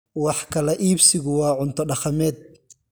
Wax kala iibsigu waa cunto dhaqameed.